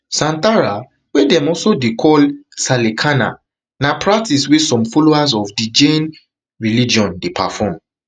santhara wey dem dey also call sallekhana na practice wey some followers of di jain religion dey perform